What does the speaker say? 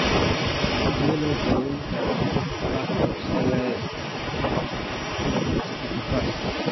Sidee loo daweyn karaa La Crosse (LAC) encephalitis?